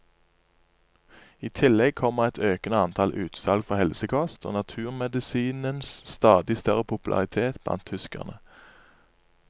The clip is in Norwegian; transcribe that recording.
I tillegg kommer et økende antall utsalg for helsekost og naturmedisinens stadig større popularitet blant tyskerne.